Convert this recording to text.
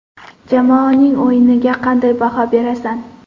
Jamoaning o‘yiniga qanday baho berasan?